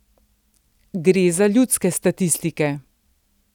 Gre za ljudske statistike.